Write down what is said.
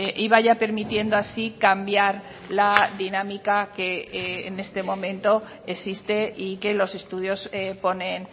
y vaya permitiendo así cambiar la dinámica que en este momento existe y que los estudios ponen